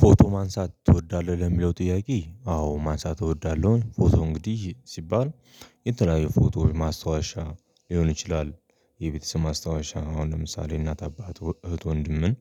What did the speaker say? ፎቶ ማንሳት ትወዳለህ ወይ? ለሚለው ጥያቄ አዎ ማንሳት እወዳለሁኝ ፎቶ እንግዲህ ሲባል የተለያዩ ፎቶ ማስታወሻ ሊሆን ይችላል። የቤተሰብ ማስታወሻ አሁን ለምሳሌ እናት አባት እህት ወንድምን